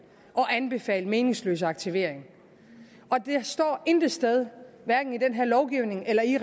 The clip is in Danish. og anbefale meningsløs aktivering det står intet sted hverken i den her lovgivning eller i